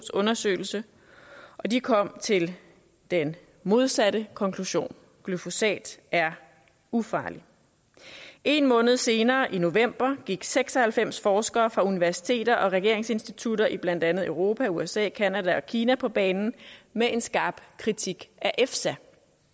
undersøgelse og de kom til den modsatte konklusion glyfosat er ufarligt en måned senere i november gik seks og halvfems forskere fra universiteter og regeringsinstitutter i blandt andet europa usa canada og kina på banen med en skarp kritik af efsa